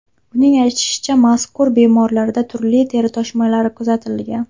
Uning aytishicha, mazkur bemorlarda turli teri toshmalari kuzatilgan.